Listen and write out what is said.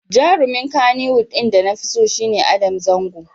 Jarumin Kannywood ɗin da nafi so shi ne Adam Zango.